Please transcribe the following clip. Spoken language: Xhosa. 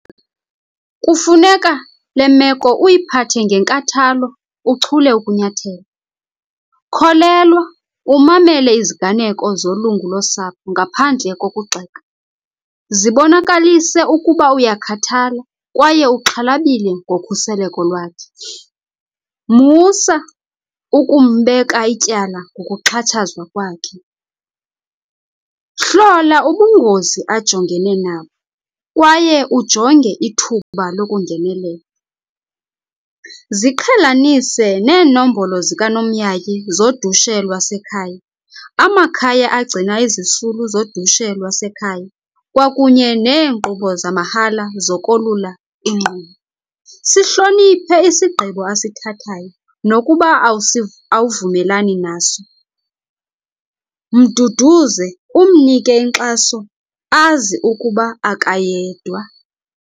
Kufuneka le meko uyiphathe ngenkathalo uchule ukunyathela. Kholelwa umamele iziganeko zolungu losapho ngaphandle kokugxeka. Zibonakalise ukuba uyakhathala kwaye uxhalabile ngokhuseleko lwakhe. Musa ukumbeka ityala ngokuxhatshazwa kwakhe. Hlola ubungozi ajongene nabo kwaye ujonge ithuba lokungenelela. Ziqhelanise neenombolo zikanomyayi zodushe lwasekhaya, amakhaya agcina izisulu zodushe lwasekhaya kwakunye neenkqubo zamahala zokolula ingqondo. Sihloniphe isigqibo asithathayo nokuba awuvumelani naso. Mduduze umnike inkxaso azi ukuba akayedwa.